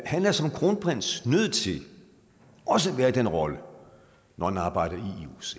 han er som kronprins nødt til også at være i den rolle når han arbejder